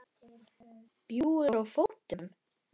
Bjúgur á fótum.